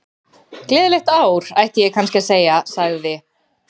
Gleðilegt ár, ætti ég kannski að segja- sagði